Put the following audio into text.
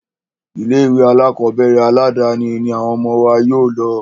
Ilé ìwé alákọ̀berẹ̀ aládàni ní àwọn ọmọ wa yóò lọ.